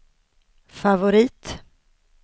favorit